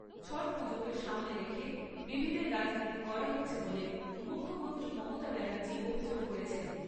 ছট পুজোকে সামনে রেখে বিভেদের রাজনীতি করা হচ্ছে বলে মুখ্যমন্ত্রী মমতা ব্যানার্জি অভিযোগ করেছেন।